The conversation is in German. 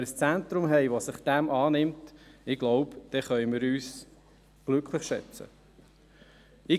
Wenn wir ein Zentrum haben, das sich dem annimmt, können wir uns glücklich schätzen, glaube ich.